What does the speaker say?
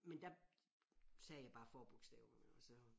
Men der sagde jeg bare forbogstaverne og så